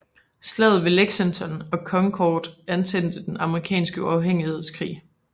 Slaget ved Lexington og Concord antændte den amerikanske uafhængighedskrig